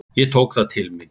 Ég tók það til mín.